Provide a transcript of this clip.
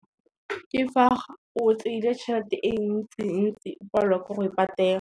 Ke fa o tseile tšhelete e ntsi-ntsi o palelwa ke go e patela.